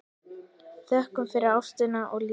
Þökkum fyrir ástina og lífið.